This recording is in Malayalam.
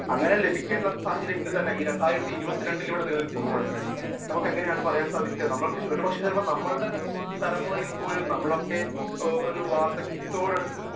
സ്പീക്കർ 1 അങ്ങനെ ലഭിക്കുന്ന സാഹചര്യം ഈ രണ്ടായിരത്തി ഇരുപത്തി രണ്ടിൽ നിലനിൽക്കുമ്പോൾ നമ്മക്ക് എങ്ങനെയാണ് പറയാൻ സാധിക്കുക ഒരുപക്ഷെ നമ്മുടെ തലമുറയിൽപോലും നമ്മളൊക്കെ ഒരു വാർധക്യത്തോട് അടുക്കുമ്പോൾ